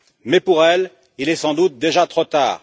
Mais pour elle, il est sans doute déjà trop tard.